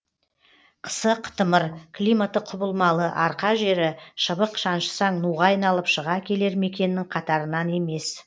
қысы қытымыр климаты құбылмалы арқа жері шыбық шаншысаң нуға айналып шыға келер мекеннің қатарынан емес